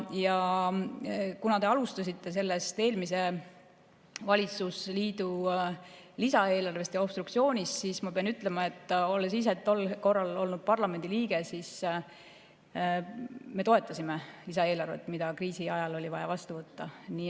Ja kuna te alustasite eelmise valitsusliidu lisaeelarvest ja obstruktsioonist, siis ma pean ütlema, et olles ise tol korral olnud parlamendiliige, siis me toetasime lisaeelarvet, mida kriisi ajal oli vaja vastu võtta.